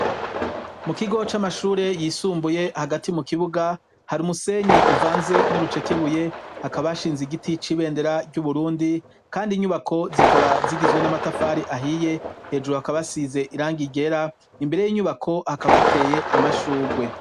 Mu kigo c'amashure yisumbuye hagati mu kibuga hari umusenyi uvanze n'urucekebuye, hakaba hashinze igiti c 'ibendera ry'uburundi ,kandi inyubako zikaba zigizwe n'amatafari ahiye ,hejuru hakaba hasize irangi ryera imbere y'inyubako hakaba hateye amashurwe.